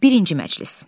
Birinci məclis.